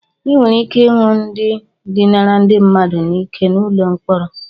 Ị nwere ike ịhụ ndị dinara ndi mmadu n'ike n'ụlọ mkpọrọ.